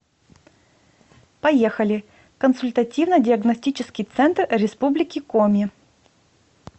поехали консультативно диагностический центр республики коми